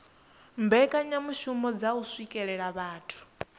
mbekanyamishumo dza u swikelela vhathu